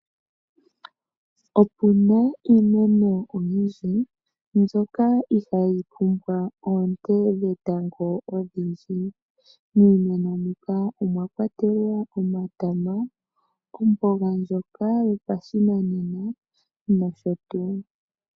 Opuna iimeno oyindji mbyoka ihaayi pumbwa oonte dhetango odhindji. Miimeno muka omwa kwatelwa omatama, omboga ndjoka yopashinanena nosho tuu.